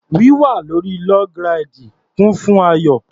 Wíwà lórí log ráìdì kún fún ayọ̀.